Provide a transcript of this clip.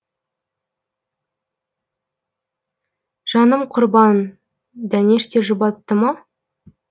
жаным құрбан дәнеш те жұбатты ма